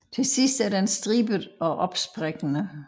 Til sidst er den stribet og opsprækkende